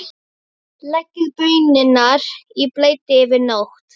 Stubbur lítur um öxl og glottir.